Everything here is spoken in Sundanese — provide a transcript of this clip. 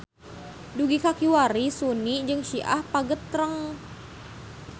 Dugi ka kiwari Suni jeung Syi'ah pagetreng.